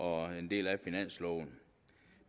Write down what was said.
og er en del af finansloven